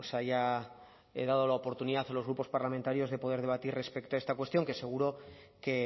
haya dado la oportunidad a los grupos parlamentarios de poder debatir respecto a esta cuestión que seguro que